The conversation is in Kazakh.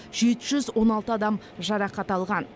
жеті жүз он алты адам жарақат алған